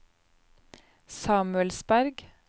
Samuelsberg